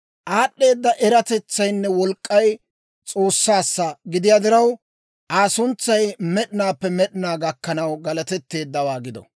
«Aad'd'eeda eratetsaynne wolk'k'ay, S'oossaassa gidiyaa diraw, Aa suntsay med'inaappe med'inaa gakkanaw galatetteeddawaa gido.